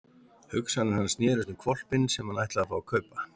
Hugsanir hans snerust um hvolpinn sem hann ætlaði að fá að kaupa.